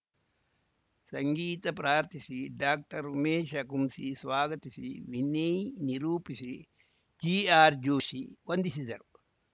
ಸಂಗೀತಾ ಪ್ರಾರ್ಥಿಸಿ ಡಾಕ್ಟರ್ಉಮೇಶ ಕುಂಸಿ ಸ್ವಾಗತಿಸಿ ವಿನಯ್‌ ನಿರೂಪಿಸಿ ಜಿಆರ್‌ ಜೋಷಿ ವಂದಿಸಿದರು